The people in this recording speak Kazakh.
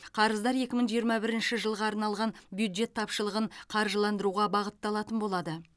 қарыздар екі мың жиырма бірінші жылға арналған бюджет тапшылығын қаржыландыруға бағытталатын болады